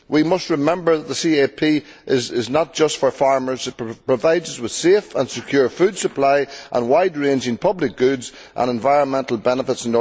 We must remember that the CAP is not just for farmers it provides us with a safe and secure food supply and wide ranging public goods and environmental benefits.